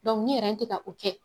ni te ka o kɛ